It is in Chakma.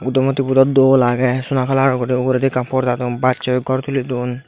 buddho murti bu dw dol age sona colour or guri uguredi ekkan porda dun bachoi ghor tuli dun.